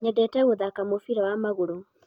nyendete gũthaka mubira wa magũrũ